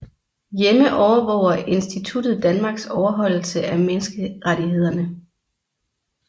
Hjemme overvåger instituttet Danmarks overholdelse af menneskerettighederne